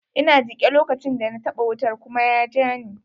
Ina jike lokacin da na taɓa wutar kuma ya jani.